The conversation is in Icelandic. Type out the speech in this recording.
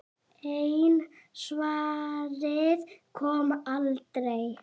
En svarið kom aldrei.